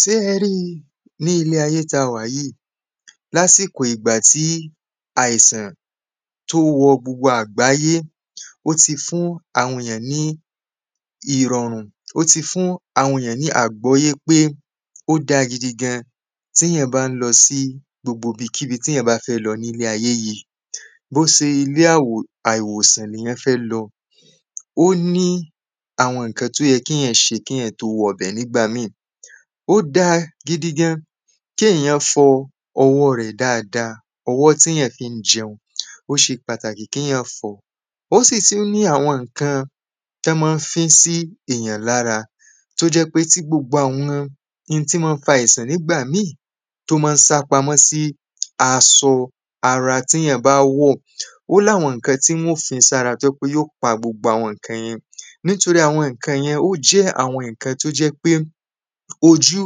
sé ẹ rí i ní ilé ayé ta wà yíì, lásíkò ìgbà tí àìsàn tó wọ gbogbo àgbáyé ó ti fún àwọn èyàn ní ìrọ̀rùn, ó ti fún àwọn ní àgbọ́yé pé ó dáa gidigan tí èyàn bá ń lọ sí gbogbo ibikíbi téyàn bá fẹ́ lọ nílé ayé yìí bó se ilé àwò àìwòsàn ni èyàn fẹ́ lọ, ó ní àwọn ǹkan tó yẹ kéyàn ṣe kéyàn tó wọ bẹ̀ nígbà míì ó dáa gidigan kéyàn fọ ọwọ́ rẹ̀ dáadáa, ọwọ́ téyàn fi ń jẹun, ó ṣe pàtàkì kéyàn fọ̀ọ́ ó sì tún ní àwọn ǹkan tán ma ń fín sí èyàn lára tó jẹ́ pé tí gbogbo àwọn ntí ma ń fa àìsàn nígbà míì tó máa ń sápamọ́ sí asọ ara téyàn bá wọ̀ ó láwọn ǹkan tíwọ́n ò fín sára tó jẹ́ í pé yóò pa gbogbo àwọn ǹkan yẹn nítorí àwọn ǹkan yẹn, ó jẹ́ àwọn ǹkan tí ojú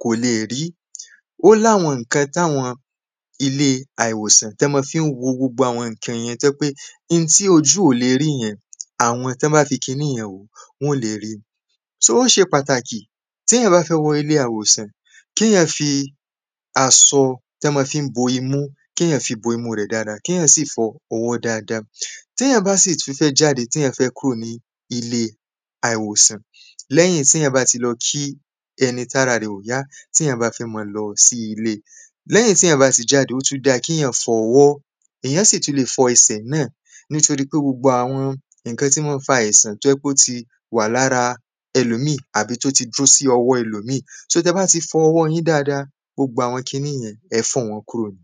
kò le è rí ó láwọn ǹkan tàwọn ilé-àìwòsàn tán máa fín wo gbogbo àwọn ǹkan yẹn tó jẹ́ pé nti ojú ò le rí yẹn, àwọn, tọ́n bá fi kiní yẹn wòó, wọ́n ó le ríi só ó ṣe pàtàkì téyàn bá fẹ́ wọ ilé-àwòsàn kéyàn fi asọ tọ́n máa fi ń bo imú kéyàn fi bo imú rẹ̀ dáadáa, kéyàn sì fọ ọwọ́ dáadáa téyàn bá sì tún fẹ́ jáde, téyàn fẹ́ kúrò ní ilé-àìwòsàn lẹ́hìn tí èyàn bá ti lọ kín ẹni tára ẹ̀ ò yá téyàn fẹ́ máa lọ sí ilé, lẹ́hìn téyàn bá ti jáde ó tún dáa kíyàn fọ ọwọ́, èyàn tún lè fọ ẹsẹ̀ náà nítorípé gbogbo àwọn ǹkan tí ma ń fa àìsàn tó jẹ́ í pé ó ti wà lára ẹlòmíì àbí tó ti dúró sí ọwọ́ ẹlòmíì, só tẹ́ẹ bá ti fọ ọwọ́ yín dáadáa, gbogbo àwọn kiníyẹn, ẹ̀ẹ́ fọ̀ wọ́n kúrò ni